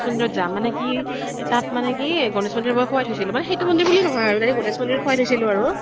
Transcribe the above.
ত যাম । মানে কি । তাত মানে কি, গনেশ মন্দিৰত মই শুৱাই থৈছিলো । মানে সেইতো মন্দিৰ বুলি নহয় এনেই গনেশ মন্দিৰত মই শুৱাই থৈছিলো আৰু ।